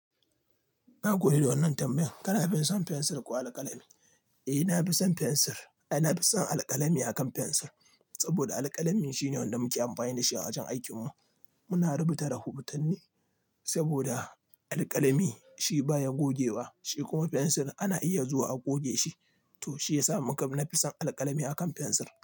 Na gode da wannan tambayan. Kana fi son fensir ko alƙalami? Eh, na fi son fensir. Eh, na fi son alƙalami akan fensir, saboda alƙalami shine wanda muke amfani da shi a wajen aikinmu. Muna rubuta rahotanni, saboda, alƙalami shi baya goge wa, shi kuma fensir ana iya zuwa a goge shi. To shi ya sa muka, na fi son alƙalami akan fensir.